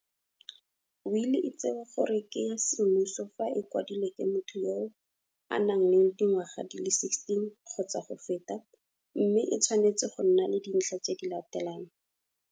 Wili e tsewa gore ke ya semmuso fa e kwadilwe ke motho yo a nang le dingwaga di le 16 kgotsa go feta, mme e tshwanetse go nna le dintlha tse di latelang